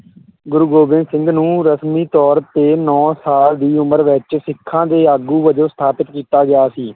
ਗੁਰੂ ਗੋਬਿੰਦ ਸਿੰਘ ਨੂੰ ਰਸਮੀ ਤੌਰ 'ਤੇ ਨੌਂ ਸਾਲ ਦੀ ਉਮਰ ਵਿੱਚ ਸਿੱਖਾਂ ਦੇ ਆਗੂ ਵਜੋਂ ਸਥਾਪਿਤ ਕੀਤਾ ਗਿਆ ਸੀ।